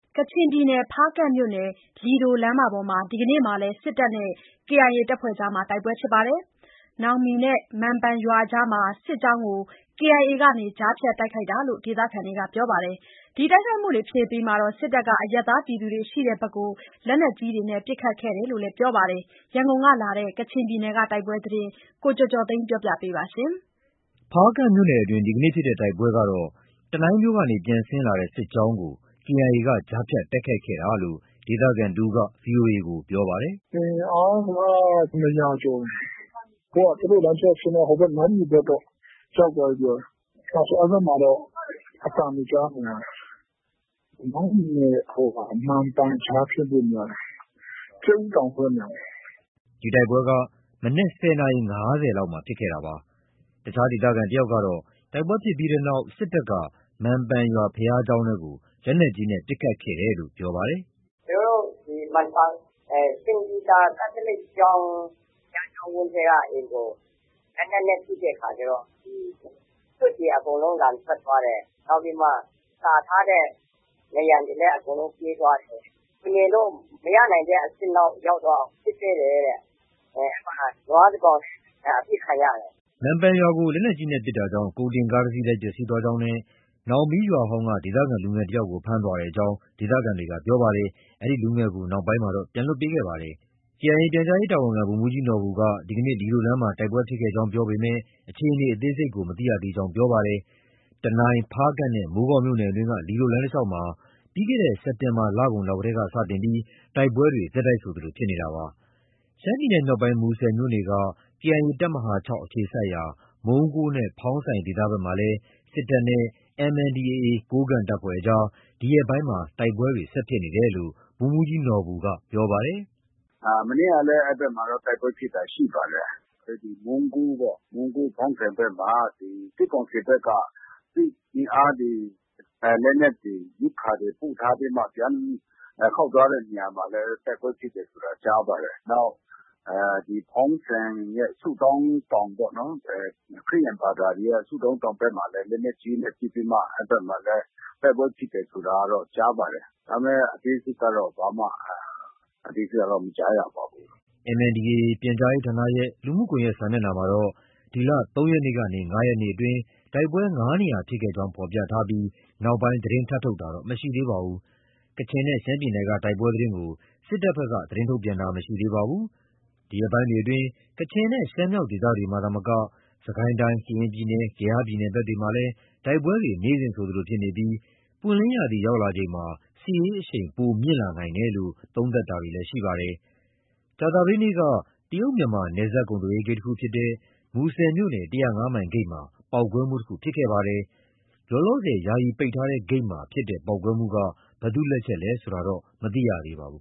ကချင်ပြည်နယ်၊ ဖားကန့်မြို့နယ်၊ လီဒိုလမ်းမှာ ဒီနေ့လည်း စစ်တပ်နဲ့ KIA ကြား တိုက်ပွဲဖြစ်ပါတယ်။ နောင်းမီနဲ့မံပန် ရွာအကြားမှာ စစ်ကြောင်းကို KIA က ကြားဖြတ်တိုက်ခိုက်တယ်လို့ ဒေသခံတွေကပြောပါတယ်။ ဒီတိုက်ခိုက်မှုဖြစ်ပြီးချိန်မှာ စစ်တပ်က အရပ်သားပြည်သူတွေရှိရာဘက် လက်နက်ကြီးနဲ့ ပစ်ခတ်ခဲ့တယ်လို့လည်း ပြောပါတယ်။ ရန်ကုန်ကလာတဲ့ ကချင်ပြည်နယ်က တိုက်ပွဲသတင်းကို ကိုကျော်ကျော်သိန်းက တင်ပြပေးထားပါတယ်။ ဖားကန့်မြို့နယ်အတွင်း ဒီနေ့ ဖြစ်တဲ့တိုက်ပွဲကတော့ တနိုင်းမြို့ကနေ ပြန်ဆင်းလာတဲ့ စစ်ကြောင်းကို KIA က ကြားဖြတ်တိုက်ခိုက်ခဲ့တာလို့ ဒေသခံတဦးက VOA ကို ပြောပါတယ်။ “အင်အားက ၂၀၀ ကျော်တယ်။ သူတို့ လမ်းကြောင်းဆင်းသွားတာ နောင်းမီဘက်တော့ ရောက်သွားပြီထင်တယ်။ အဲဒီဘက်မှာတော့ အသံတွေ ကြားနေရတယ်။ နောင်းမီနဲ့ မံပန်ကြားဖြစ်ဖို့များတယ်။ ကြက်ဥတောင်ဆိုတဲ့နေရာမှာ။” ဒီတိုက်ပွဲဟာ မနက် ၁၀ နာရီ ၅၀ လောက်မှာ ဖြစ်ခဲ့တာပါ။ အခြား ဒေသခံတယောက်ကတော့ တိုက်ပွဲဖြစ်ပြီးနောက် စစ်တပ်က မံပန် ရွာ ဘုရားကျောင်းအတွင်းကို လက်နက်ကြီးနဲ့ ပစ်ခတ်ခဲ့တယ်လို့ ပြောပါတယ်။ “ကျနော်တို့ မံပန်၊ စိန့်ပီတာ ကက်သလစ်ဘုရားကျောင်းဝန်းထဲကအိမ်ကို လက်နက်နဲ့ပစ်တဲ့အခါကျတော့ သွပ်တွေ အကုန်လုံး လန်ထွက်သွားတယ်။ နောက်ပြီးမှ ကာထားတဲ့နံရံတွေလည်း အကုန်လုံး ပြဲသွားတယ်။ လူနေလို့ မရနိုင်တဲ့အဆင့်ရောက်သွားအောင် ပစ်တယ်တဲ့။ အဲဒီမှာ နွားတကောင်လည်း အပစ်ခံရတယ်။” မံပန် ရွာကို လက်နက်ကြီးနဲ့ ပစ်ခတ်တာကြောင့် ကုန်တင်ကားတစီးလည်း ပျက်စီးသွားကြောင်းနဲ့ နောင်မီးရွာဟောင်းက ဒေသခံလူငယ်တယောက်ကို ဖမ်းဆီးခေါ်ဆောင်သွားကြောင်းလည်း ဒေသခံတွေက ပြောပါတယ်။ လူငယ်ကိုတော့ နောက်ပိုင်းမှာ ပြန်လွှတ်ပေးခဲ့ပါတယ်။ KIA ရဲ့ ပြန်ကြားရေးတာဝန်ခံ ဗိုလ်မှူးကြီးနော်ဘူက ဒီကနေ့ လီဒိုလမ်းမှာ တိုက်ပွဲဖြစ်ပွားခဲ့ကြောင်း ပြောပေမဲ့ အခြေအနေအသေးစိတ်ကို မသိရကြောင်း ပြောပါတယ်။ တနိုင်း၊ ဖားကန့်နဲ့ မိုးကောင်းမြို့နယ်တွင်းက လီဒိုလမ်းတလျှောက်မှာ ပြီးခဲ့တဲ့ စက်တင်ဘာလကုန်လောက်တည်းကစတင်ပြီး တိုက်ပွဲတွေ ဆက်တိုက်ဆိုသလို ဖြစ်ပွားနေတာပါ။ ရှမ်းပြည်နယ်မြောက်ပိုင်း၊ မူဆယ်မြို့နယ်က KIA တပ်မဟာ ၆ အခြေစိုက်ရာ မုံးကိုးနဲ့ ဖောင်းဆိုင်ဒေသဘက်မှာလည်း စစ်တပ်နဲ့ MNDAA ကိုးကန့်တပ်ဖွဲ့ကြား ဒီရက်ပိုင်းမှာ တိုက်ပွဲတွေ ဆက်ဖြစ်နေတယ်လို့ ဗိုလ်မှူးကြီးနော်ဘူက ပြောပါတယ်။ “မနေ့ကလည်း အဲဒီဘက်မှာတော့ တိုက်ပွဲဖြစ်တာရှိပါတယ်။ မုံးကိုး၊ ဖောင်းဆိုင်ဘက်မှာ စစ်ကောင်စီဘက်က စစ်အင်အားတွေ၊ လက်နက်တွေ၊ ရိက္ခာတွေ ပို့ထားပြီးမှ ပြန်ခေါက်သွားတဲ့နေရာမှာ တိုက်ပွဲဖြစ် တယ်ဆိုတာ ကြားပါတယ်။ နောက် ဒီ ဖောင်းဆိုင်ရဲ့ ဆုတောင်းတောင်ပေ့ါနော်။ ခရစ်ယာန်ဘာသာတွေရဲ့ ဆုတောင်း တောင်ဘက်မှာလည်း လက်နက်ကြီးနဲ့ပစ်ပြီးမှ အဲဒီဘက်မှာလည်း တိုက်ပွဲဖြစ်တယ်ဆိုတာကတော့ ကြားပါတယ်။ ဒါပေမဲ့ အသေးစိတ်ကတော့ ဘာမှမကြားရပါဘူး။” MNDAAပြန်ကြားရေးဌာနရဲ့ လူမှုကွန်ရက်စာမျက်နှာမှာတော့ ဒီလ ၃ ရက်နေ့ကနေ ၅ ရက်နေ့အတွင်း တိုက်ပွဲ ၅ နေရာဖြစ်ခဲ့ကြောင်းဖော်ပြထားပြီး နောက်ပိုင်း သတင်းထပ်ထုတ်တာတော့ မရှိပါဘူး။ ကချင်နဲ့ ရှမ်းပြည်နယ်က တိုက်ပွဲသတင်းကို စစ်ကောင်စီဘက်က ထုတ်ပြန်ထားတာ မရှိသေးပါဘူး။ ဒီရက်ပိုင်းတွေအတွင်း ကချင်နဲ့ ရှမ်းမြောက်ဒေသတွေမှာသာမက စစ်ကိုင်းတိုင်း၊ ကရင်ပြည်နယ်၊ ကယားပြည်နယ်ဘက်တွေမှာလည်း တိုက်ပွဲတွေ နေ့စဉ်ဆိုသလို ဖြစ်ပွားနေပြီး ပွင့်လင်းရာသီရောက်လာချိန်မှာ စစ်ရေးအရှိန် ပိုမြင့်လာနိုင်တယ်လို့ သုံးသပ်တာတွေ ရှိပါတယ်။ ကြာသပတေးနေ့က တရုတ် မြန်မာ နယ်စပ်ကုန်သွယ်ရေးဂိတ်ဖြစ်တဲ့ မူဆယ်မြို့နယ် ၁၀၅ မိုင်ဂိတ်မှာ ပေါက်ကွဲမှုတခုဖြစ်ခဲ့ပါတယ်။ လောလောဆယ် ယာယီပိတ်ထားတဲ့ဂိတ်မှာ ဖြစ်တဲ့ပေါက်ကွဲမှုက ဘယ်သူ့လက်ချက်လဲဆိုတာတော့ မသိရသေးပါဘူး